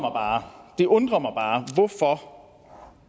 det undrer mig bare hvorfor